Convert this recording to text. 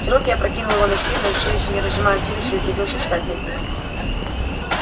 чероки опрокинул его на спину и всё ещё не разжимая челюстей ухитрился встать над ним